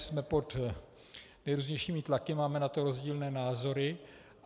Jsme pod nejrůznějšími tlaky, máme na to rozdílné názory.